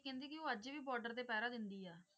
ਕਹਿੰਦੇ ਕਿ ਉਹ ਅੱਜ ਵੀ border ਤੇ ਪਹਿਰਾ ਦਿੰਦੀ ਹੈ